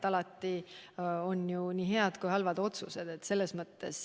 Alati on tehtud ju nii häid kui ka halbu otsused.